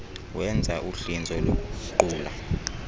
wenza uhlinzo lokuguqula